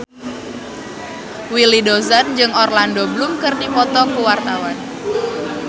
Willy Dozan jeung Orlando Bloom keur dipoto ku wartawan